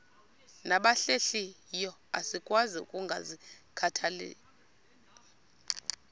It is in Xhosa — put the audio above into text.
nabahlehliyo asikwazi ukungazikhathaieli